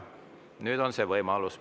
Nüüd on see võimalus.